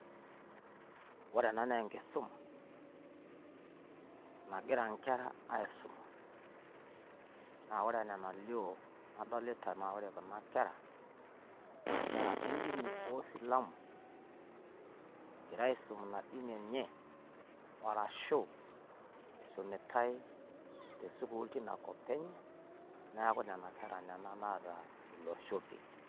Ore ena naa enkisuma nagira nkera aisuma. Naa ore enaa enalio nadolita naa ore kuna kera naa nkera e dini oo silamu. Egira aisum ina dini enye arashu isumitai te sukuul teina kop enye niaku nena kera nena naata iloshopie.